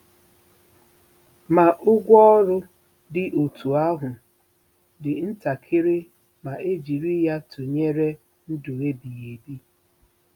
Ma, ụgwọ ọrụ dị otú ahụ dị ntakịrị ma e jiri ya tụnyere ndụ ebighị ebi.